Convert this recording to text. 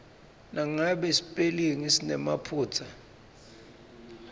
nangabe sipelingi sinemaphutsa